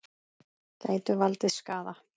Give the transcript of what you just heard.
Gætu valdið skaða.